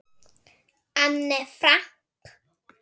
Anne Frank.